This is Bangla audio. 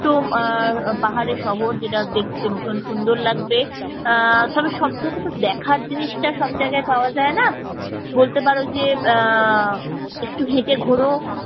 ছোট্ট আহ পাহাড়ি শহর যেটা দেখতে ভীষণ সুন্দর লাগবে তবে সব জায়গাতে দেখার জিনিসটা সব জায়গায় পাওয়া যায় না বলতে পারো যে আহ একটু হেঁটে ঘোরো